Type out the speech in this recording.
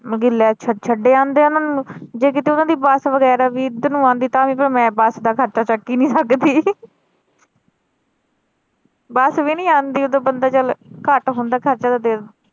ਮਤਲਬ ਕਿ ਲੈ ਛੱਡ ਆਉਂਦੇ ਆ ਉਹਨਾਂ ਨੂੰ ਜੇ ਕੀਤੇ ਓਹਨਾ ਦੀ bus ਵਗੈਰਾ ਵੀ ਏਧਰ ਨੂੰ ਆਉਂਦੀ ਤਾਂ ਵਮੈਂ bus ਦਾ ਖਰਚਾ ਚੱਕ ਈ ਨਹੀਂ ਸਕਦੀ bus ਵੀ ਨਹੀਂ ਆਉਂਦੀ ਓਦੋਂ ਬੰਦਾ ਚੱਲ ਘੱਟ ਹੁੰਦਾ ਖਰਚਾ